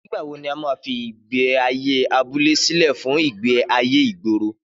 Nígbàwo ní a ma fí ìgbé ayé abúlé sílẹ̀ fún ìgbé ayé ìgboro